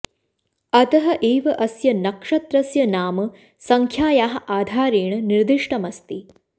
अतः एव अस्य नक्षत्रस्य नाम सङ्ख्यायाः आधारेण निर्दिष्टमस्ति